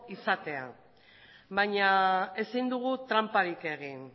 izatea baina ezin dugu tranparik egin